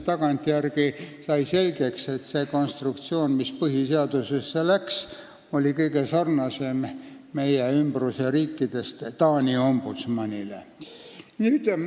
Tagantjärele sai selgeks, et see konstruktsioon, mis põhiseadusesse läks, sarnanes kõige rohkem Taani ombudsmani regulatsiooniga, kui vaadata meie ümbruskonna riike.